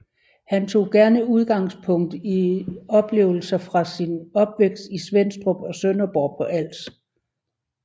Han tog gerne udgangspunkt i oplevelser fra sin opvækst i Svenstrup og Sønderborg på Als